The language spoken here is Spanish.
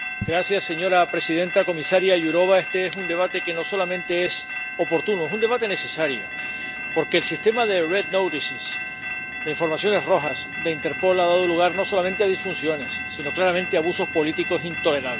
Señora presidenta, comisaria Jourová, este es un debate que no solamente es oportuno, es un debate necesario, porque el sistema de Red Notices —informaciones rojas— de Interpol ha dado lugar no solamente a disfunciones, sino claramente a abusos políticos intolerables.